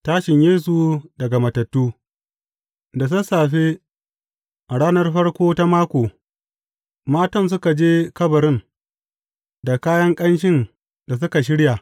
Tashin Yesu daga matattu Da sassafe a ranar farko ta mako, matan suka je kabarin, da kayan ƙanshin da suka shirya.